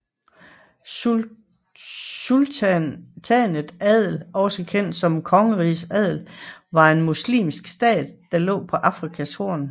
Sultanatet Adel også kendt som kongeriget Adel var en muslimsk stat der lå på Afrikas Horn